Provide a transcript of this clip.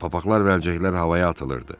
Papaqlar və əlcəklər havaya atılırdı.